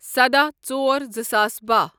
سداہ ژور زٕساس باہ